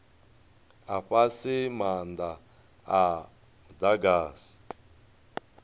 a fhasi maanda a mudagasi